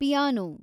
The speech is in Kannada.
ಪಿಯಾನೋ